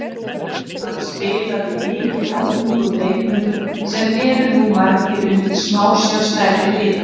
Hann spilaði mikið á ungum leikmönnum sem eru nú margir undir smásjá stærri liða.